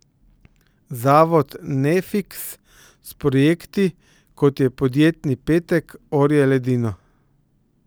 Zavod Nefiks s projekti, kot je Podjetni petek, orje ledino.